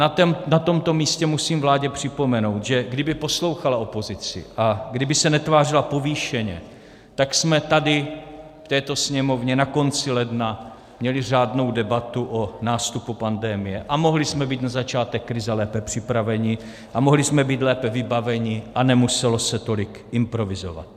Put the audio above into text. Na tomto místě musím vládě připomenout, že kdyby poslouchala opozici a kdyby se netvářila povýšeně, tak jsme tady v této Sněmovně na konci ledna měli řádnou debatu o nástupu pandemie a mohli jsme být na začátek krize lépe připraveni a mohli jsme být lépe vybaveni a nemuselo se tolik improvizovat.